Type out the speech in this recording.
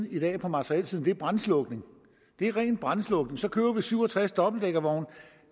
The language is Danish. i dag på materielsiden er brandslukning det er ren brandslukning så køber vi syv og tres dobbeltdækkervogne